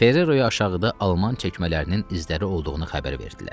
Ferreroya aşağıda alman çəkmələrinin izləri olduğunu xəbər verdilər.